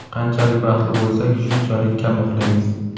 Qanchalik baxtli bo‘lsak, shunchalik kam uxlaymiz.